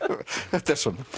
þetta er svona